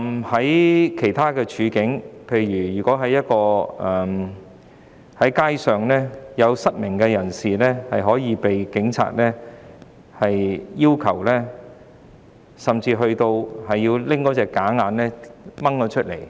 在其他情況下，例如在街上，曾有失明人士甚至被警員帶到警署，並被要求將假眼除下。